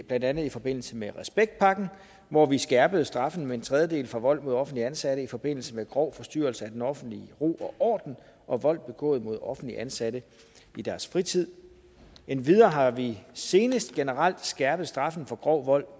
blandt andet i forbindelse med respektpakken hvor vi skærpede straffen med en tredjedel for vold mod offentligt ansatte i forbindelse med grov forstyrrelse af den offentlige ro og orden og vold begået mod offentligt ansatte i deres fritid endvidere har vi senest generelt skærpet straffen for grov vold